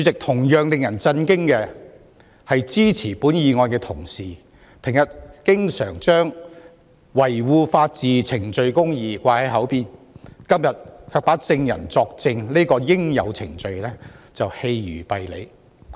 同樣令人震驚的是，支持本議案的同事平日經常把維護法治和程序公義掛在嘴邊，今天卻把證人作證這個應有程序棄如敝履。